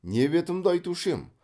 не бетімді айтушы ем